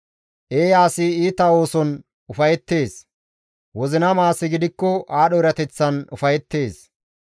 Eeya asi iita ooson ufayeettes; wozinama asi gidikko aadho erateththan ufayeettes.